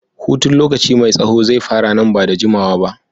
Hutun lokaci mai tsaho zai fara nan da ba da jimawa ba.